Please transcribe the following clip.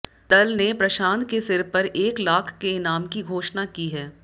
दल ने प्रशांत के सिर पर एक लाख के इनाम की घोषणा की है